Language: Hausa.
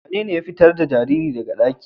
Wanene ya fitar da jaririn daga ɗaki?